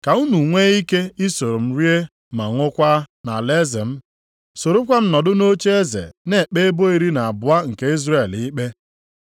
Ka unu nwe ike isoro m rie ma ṅụọkwa nʼalaeze m. Sorokwa m nọdụ nʼocheeze na-ekpe ebo iri na abụọ nke Izrel ikpe.